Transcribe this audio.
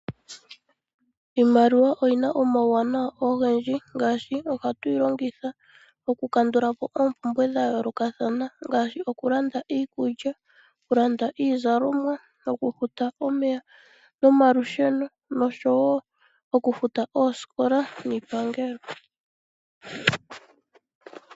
Iimaliwa oyina omawu wanawa ogendji ngaashi ohatu yilongitha oku kandulapo oompumbwe dhayoolokathana ngaashi okulanda iikulya, okulanda iizalomwa , oku futa omeya nomalusheno noshowo oku futa oosikola niipangelo.